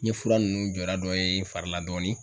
N ye fura nunnu jɔda dɔ ye n fari la dɔɔnin